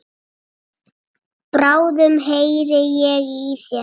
Bráðum heyri ég í þér.